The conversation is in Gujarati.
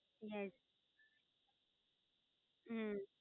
Yash. હમ